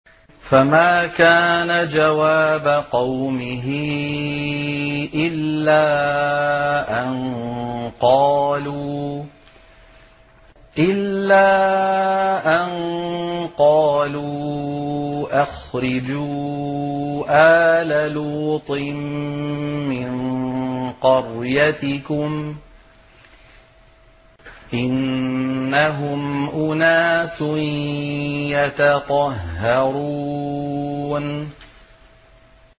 ۞ فَمَا كَانَ جَوَابَ قَوْمِهِ إِلَّا أَن قَالُوا أَخْرِجُوا آلَ لُوطٍ مِّن قَرْيَتِكُمْ ۖ إِنَّهُمْ أُنَاسٌ يَتَطَهَّرُونَ